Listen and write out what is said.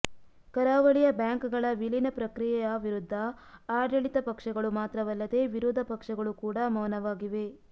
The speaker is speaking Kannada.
ಕರಾವಳಿಯ ಬ್ಯಾಂಕ್ಗಳ ವಿಲೀನ ಪ್ರಕ್ರಿಯೆಯ ವಿರುದ್ಧ ಆಡಳಿತ ಪಕ್ಷಗಳು ಮಾತ್ರವಲ್ಲದೆ ವಿರೋಧ ಪಕ್ಷಗಳು ಕೂಡ ವೌನವಾಗಿವೆ